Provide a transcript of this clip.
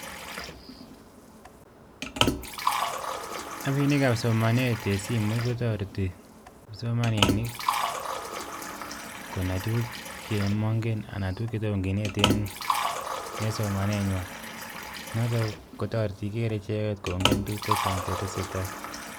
Apinik ap somanet en simoit kotoreti kipsomanik konai tukuk chemoingen, anan tukuk chetom kinet en somanenywan, notok kotoreti igere icheket kongen tukuk chechang che tesetai